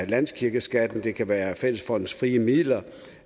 landskirkeskatten det kan være af fællesfondens frie midler